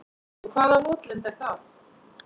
Og hvaða votlendi er það?